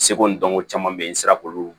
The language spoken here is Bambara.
Seko ni dɔnko caman bɛ ye n sera k'olu